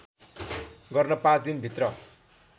गर्न पाँच दिनभित्र